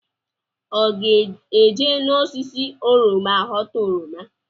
Ọ ga-eje n’osisi oroma ghọta oroma?